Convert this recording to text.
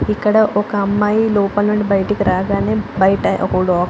ఇక్కడ ఒక అమ్మాయి లోపల నుండి బయటికి రాగానే బయట --